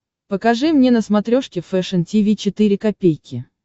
покажи мне на смотрешке фэшн ти ви четыре ка